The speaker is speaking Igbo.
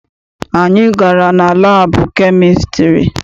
Anyị gara na labu chemistiry.